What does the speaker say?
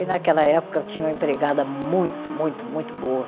E naquela época eu tinha uma empregada muito, muito, muito boa.